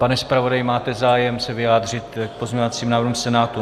Pane zpravodaji, máte zájem se vyjádřit k pozměňovacím návrhům Senátu?